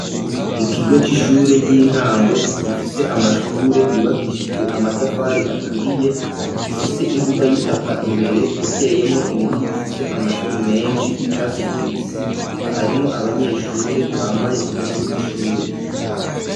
Ikigo c'ishure ry'intango gifise amashure yubakishijwe amatafari aturiye gifise imbuga y'itaka imbere iteyemwo ibiti bifise amashami menshi y'icatsi kibisi, harimwo abanyeshure bambaye impuzu z'ishure.